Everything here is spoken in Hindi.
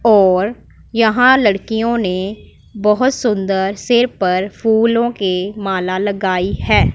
और यहां लड़कियों ने बहोत सुंदर सिर पर फूलों की माला लगाई है।